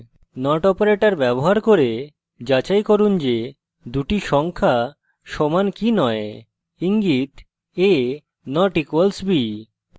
not operator ব্যবহার করে যাচাই করুন যে দুটি সংখ্যা সমান কি নয় ইঙ্গিত: a != b